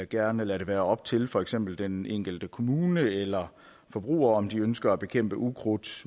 gerne lade det være op til for eksempel den enkelte kommune eller forbruger om de ønsker at bekæmpe ukrudt